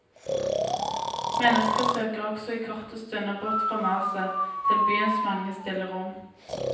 Mennesker søker også i korte stunder bort fra maset, til byens mange stille rom.